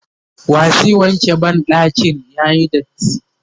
wa zai wanke banɗakin yayi datti?